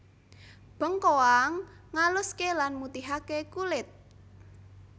Bengkoang ngaluské lan mutihaké kulit